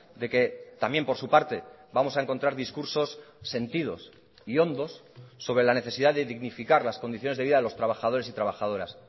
de que también por su parte vamos a encontrar discursos sentidos y hondos sobre la necesidad de dignificar las condiciones de vida de los trabajadores y trabajadoras